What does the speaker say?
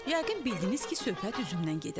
Yəqin bildiniz ki, söhbət üzümdən gedir.